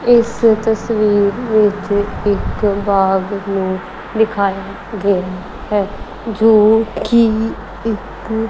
ਇਸ ਤਸਵੀਰ ਵਿੱਚ ਇੱਕ ਬਾਗ਼ ਨੂੰ ਦਿਖਾਯਾ ਗਿਆ ਹੈ ਜੋ ਕੀ ਇੱਕ--